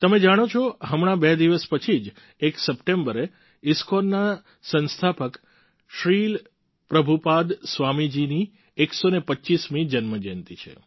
તમે જાણો છો હમણાં બે દિવસ પછી જ એક સપ્ટેમ્બરે ઈસ્કોનના સંસ્થાપક શ્રીલ પ્રભુપાદ સ્વામી જીની 125મી જન્મજયંતિ છે